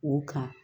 O kan